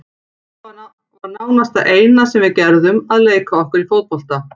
Þetta var nánast það eina sem við gerðum, að leika okkur í fótbolta.